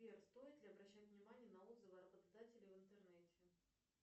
сбер стоит ли обращать внимание на отзывы о работодателе в интернете